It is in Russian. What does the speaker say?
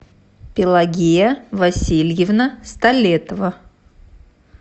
пелагея васильевна столетова